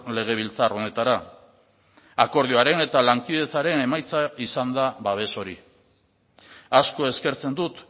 legebiltzar honetara akordioaren eta lankidetzaren emaitza izan da babes hori asko eskertzen dut